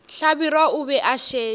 hlabirwa o be a šetše